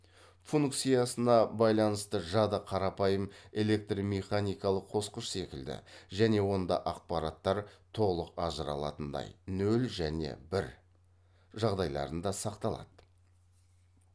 функциясына байланысты жады қарапайым электромеханикалық қосқыш секілді және онда ақпараттар толық ажырата алатындай нөл және бір жағдайларында сақталады